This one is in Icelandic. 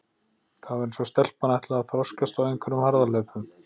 Það var eins og stelpan ætlaði að þroskast á einhverjum harðahlaupum.